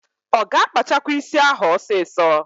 Ọ ga-akpachakwa ísí ahụ ọsịsọ?